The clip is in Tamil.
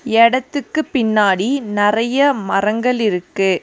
எடத்துக்கு பின்னாடி நறைய மரங்கள் இருக்கு.